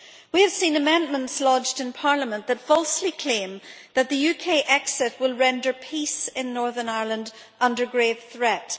We have seen amendments lodged in Parliament that falsely claim that the UK exit will render peace in Northern Ireland under grave threat.